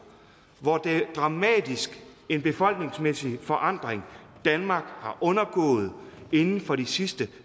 hvor dramatisk en befolkningsmæssig forandring danmark har undergået inden for de sidste